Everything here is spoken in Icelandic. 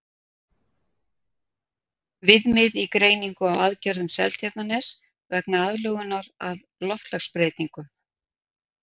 Viðmið í greiningu á aðgerðum Seltjarnarness vegna aðlögunar að loftslagsbreytingum.